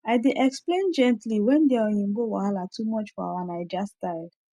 i dey explain gently when their oyinbo wahala too much for our naija style